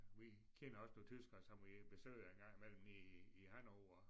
Vi kender også nogle tyskere som vi besøger engang imellem nede i i Hannover